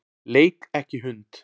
Leik ekki hund.